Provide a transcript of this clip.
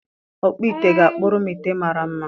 Ọkpụ ite ga-akpụrụ m ite mara mma.